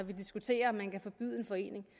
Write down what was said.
vi diskuterer om man kan forbyde en forening